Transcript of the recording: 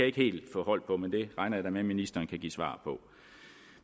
ikke helt få hold på men det regner jeg da med ministeren kan give svar på